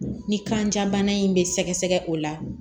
Ni kanja bana in bɛ sɛgɛsɛgɛ o la